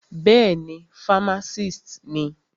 Bẹ́ẹ̀ni, fámásìst ni.